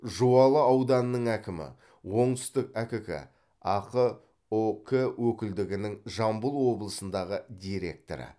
жуалы ауданының әкімі оңтүстік әкк ақ ұк өкілдігінің жамбыл облысындағы директоры